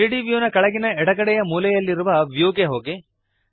3ದ್ ವ್ಯೂನ ಕೆಳಗಿನ ಎಡಗಡೆಯ ಮೂಲೆಯಲ್ಲಿರುವ ವ್ಯೂ ಗೆ ಹೋಗಿರಿ